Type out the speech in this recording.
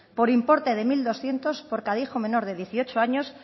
por importe de mil doscientos por cada hijo menor de dieciocho años